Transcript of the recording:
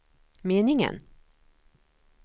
meningen